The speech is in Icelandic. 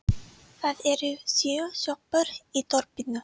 Það eru sjö sjoppur í þorpinu!